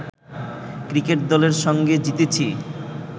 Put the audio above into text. cricket দলের সঙ্গে জিতেছি